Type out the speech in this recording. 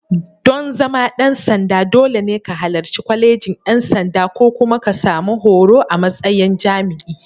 Dan zama ɗan sanda, dole ne ka halarci Kwalejin ʼYan sanda ko kuma ka sami horo a matsayin jami'i.